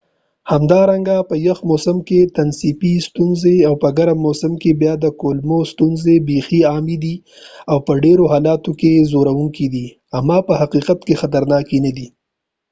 همدارنګه په یخ موسم کې تنفسي ستونزې او په ګرم موسم کې بیا د کولمو ستونزې بیخې عامي دي او په ډيرو حالاتو کې ځورونکي دي اما په حقیقت کې خطرناکې نه دي